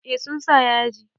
Eh sun sa yaji.